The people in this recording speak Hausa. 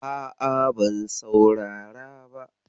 A'a, ban saurara ba.